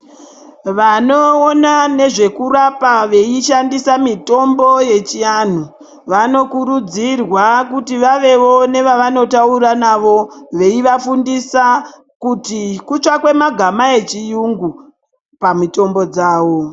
Vanoona nezvekurapa, veishandisa mitombo yechianhu, vanokurudzirwa kuti vavewo nevavanotaura navo, veivafundisa kuti kutsvakwe magama echirungu pamitombo dzavo.